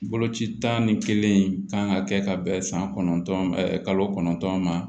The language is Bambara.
Bolocita ni kelen in kan ka kɛ ka bɛn san kɔnɔntɔn kalo kɔnɔntɔn ma